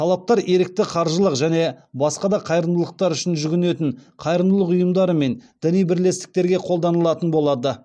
талаптар ерікті қаржылық және басқа да қайырымдылықтар үшін жүгінетін қайырымдылық ұйымдары мен діни бірлестіктерге қолданылатын болады